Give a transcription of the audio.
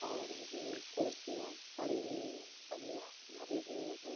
और उसमें कुर्सियाँ पड़ी हुई हैं पहिया धरे हुए हैं।